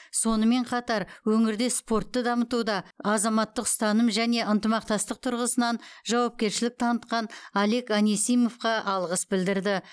сонымен қатар өңірде спортты дамытуда азаматтық ұстаным және ынтымақтастық тұрғысынан жауапкершілік танытқан олег анисимовқа алғыс білдірлді